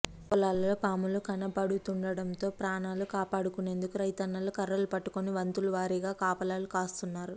పొలాల్లో పాములు కనపడుతుండటంతో ప్రాణాలు కాపాడుకునేందుకు రైతున్నలు కర్రలు పట్టుకుని వంతులు వారీగా కాపలాలు కాస్తున్నారు